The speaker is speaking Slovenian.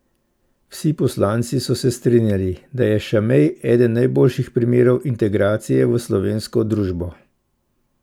Vsi poslanci so se strinjali, da je Šamej eden najboljših primerov integracije v slovensko družbo.